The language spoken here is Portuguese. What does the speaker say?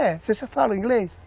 É, você só fala inglês?